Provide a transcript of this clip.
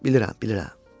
Bilirəm, bilirəm.